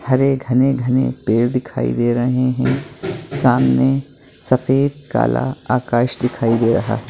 हरे घने - घने पेड़ दिखाई दे रहे हैं सामने सफेद काला आकाश दिखाई दे रहा है।